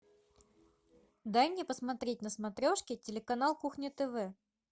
дай мне посмотреть на смотрешке телеканал кухня тв